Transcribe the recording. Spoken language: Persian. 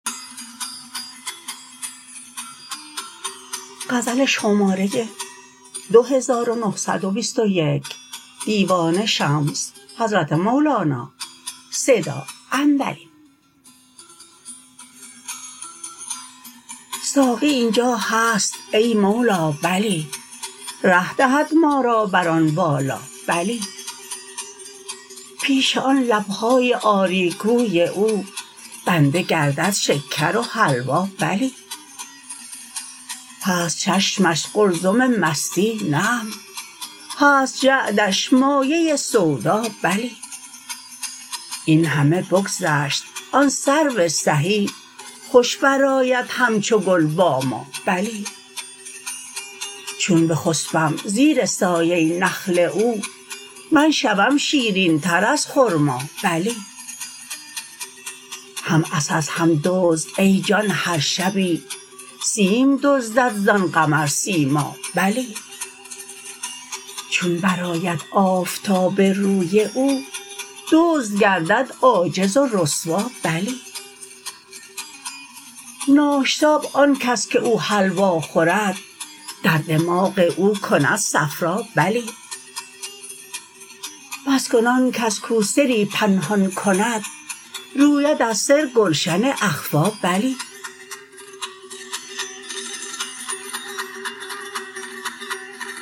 ساقی این جا هست ای مولا بلی ره دهد ما را بر آن بالا بلی پیش آن لب های آری گوی او بنده گردد شکر و حلوا بلی هست چشمش قلزم مستی نعم هست جعدش مایه سودا بلی این همه بگذشت آن سرو سهی خوش برآید همچو گل با ما بلی چون بخسبم زیر سایه نخل او من شوم شیرین تر از خرما بلی هم عسس هم دزد ای جان هر شبی سیم دزدد زان قمرسیما بلی چون برآید آفتاب روی او دزد گردد عاجز و رسوا بلی ناشتاب آن کس که او حلوا خورد در دماغ او کند صفرا بلی بس کن آن کس کو سری پنهان کند روید از سر گلشن اخفیٰ بلی